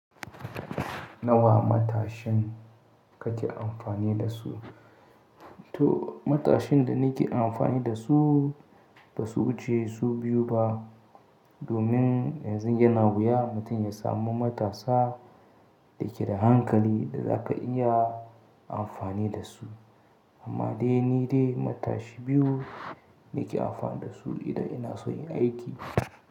Nawa matashin kake amfani da su? To matashin da nake amfani da su ba su wuce su biyu ba. Domin yanzu yana wuya mutum ya samu matasa da ke da hankali da za ka iya amfani da su. Amma dai ni dai matashi biyu nake amfani da su idan ina so yin aiki.